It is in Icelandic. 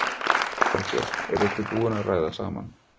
Þorbjörn: Eruð þið búin að ræða saman?